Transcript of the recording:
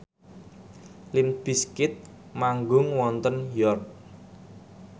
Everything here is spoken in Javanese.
limp bizkit manggung wonten York